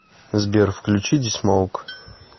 сбер включи ди смоук